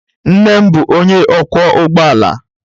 Nna m bụ onye ọkwọ ụgbọ ala